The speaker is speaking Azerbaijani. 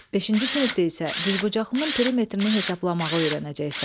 Beşinci sinifdə isə düzbucaqlının perimetrini hesablamağı öyrənəcəksən.